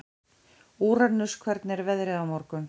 Úranus, hvernig er veðrið á morgun?